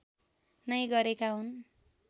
नै गरेका हुन्